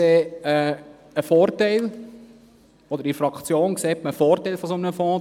In der Fraktion sieht man einen Vorteil in einem solchen Fonds.